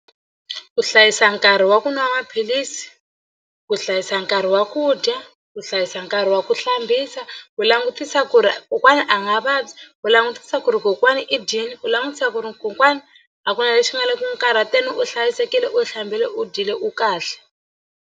Ku hlayisa nkarhi wa ku nwa maphilisi ku hlayisa nkarhi wa ku dya ku hlayisa nkarhi wa ku hlambisa ku langutisa ku ri kokwana a nga vabyi u langutisa ku ri kokwana i dyile u langutisa ku ri kokwani a ku na lexi nga ku n'wi karhateni u hlayisekile u hlambile u dyile u kahle.